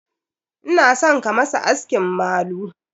Ina son ka masa askin malu.